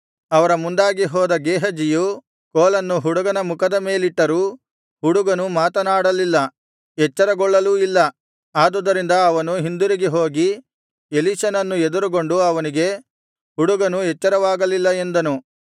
ಅವರ ಮುಂದಾಗಿ ಹೋದ ಗೇಹಜಿಯು ಕೋಲನ್ನು ಹುಡುಗನ ಮುಖದ ಮೇಲಿಟ್ಟರೂ ಹುಡುಗನು ಮಾತನಾಡಲಿಲ್ಲ ಎಚ್ಚರಗೊಳ್ಳಲೂ ಇಲ್ಲ ಆದುದರಿಂದ ಅವನು ಹಿಂದಿರುಗಿ ಹೋಗಿ ಎಲೀಷನನ್ನು ಎದುರುಗೊಂಡು ಅವನಿಗೆ ಹುಡುಗನು ಎಚ್ಚರವಾಗಲಿಲ್ಲ ಎಂದನು